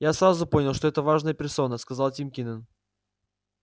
я сразу понял что это важная персона сказал тим кинен